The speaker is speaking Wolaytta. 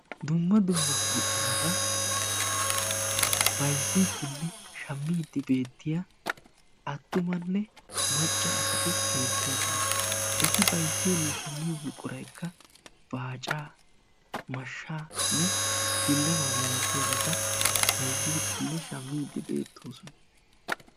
Dumma dumma buquratta bayzziddinne shamiddi de'iya asatti beettosonna. Etti bayzziyo buquray baacanne mashshaa.